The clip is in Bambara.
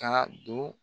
Ka don